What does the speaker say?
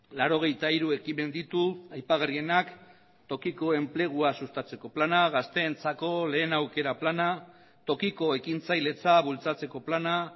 laurogeita hiru ekimen ditu aipagarrienak tokiko enplegua sustatzeko plana gazteentzako lehen aukera plana tokiko ekintzailetza bultzatzeko plana